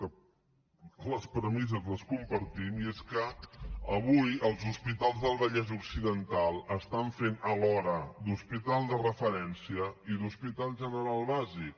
que les premisses les compartim i és que avui els hospitals del vallès occidental estan fent alhora d’hospital de referència i d’hospital general bàsic